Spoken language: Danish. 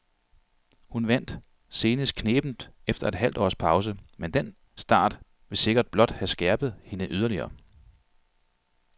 Hun vandt senest knebent efter et halvt års pause, men den start vil sikkert blot have skærpet hende yderligere.